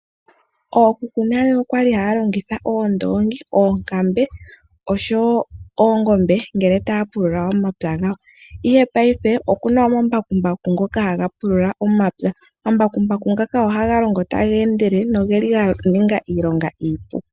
Ookuku nale okwa li haya longitha oondoongi, oonkambe oshowo oongombe ngele taa pulula omapya gawo, ihe payife oku na omambakumbaku ngoka haga pulula omapya, omambakumbaku ngaka oha ga longo taga endelele no geli ganinga iilonga iipu.